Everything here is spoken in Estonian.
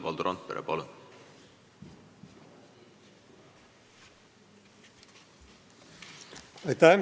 Palun!